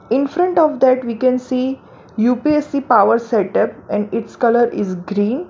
In front of that we can see U_P_S_C power setup and its colour is green.